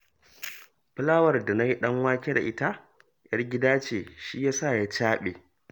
Fulawar da na yi ɗanwake da ita 'yar gida ce, shi ya sa ya caɓe